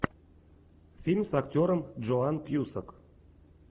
фильм с актером джоан кьюсак